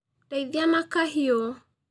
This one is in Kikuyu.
Ndeithia na kahiũ